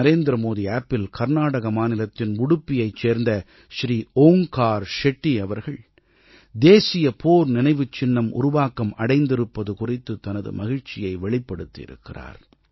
NarendraModiAppஇல் கர்நாடக மாநிலத்தின் உடுப்பியைச் சேர்ந்த ஸ்ரீ ஓங்கார் ஷெட்டி அவர்கள் தேசிய போர் நினைவுச் சின்னம் உருவாக்கம் அடைந்திருப்பது குறித்து தனது மகிழ்ச்சியை வெளிப்படுத்தியிருக்கிறார்